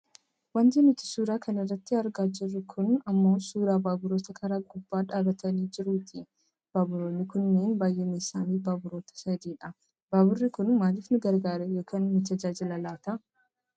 Wanti nuti suura kana irratti argaa jirru kun ammoo suuraa baabura karaa gubbaa dhaabbatee jiruuti. Baaburoonni kunneen baayyinni isaanii baaburoota sadidha. Baaburri kun maaliif nu gargaara yookaan nu tajaajila laata?